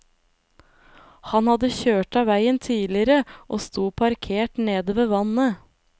Han hadde kjørt av veien tidligere og stod parkert nede ved vannet.